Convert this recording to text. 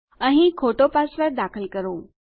અહીં ખોટો પાસવર્ડ દાખલ કરો